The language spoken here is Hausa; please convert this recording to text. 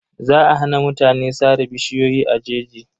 Za a hana mutane sare bishiyoyi a jeji.